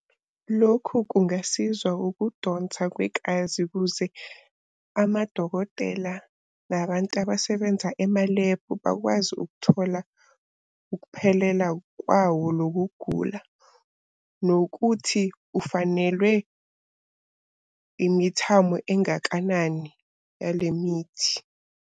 Lokhu kungasizwa ukudonsa kwekazi ukuze amadokotela nabantu abasebenza emalebhu bakwazi ukuthola ukuphelela kwawo lokuk'gula. Nokuthi ufanelwe imithamo engakanani yale mithi.